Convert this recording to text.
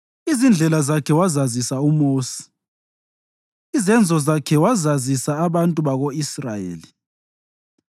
Izindlela zakhe wazazisa uMosi, izenzo zakhe wazazisa abantu bako-Israyeli;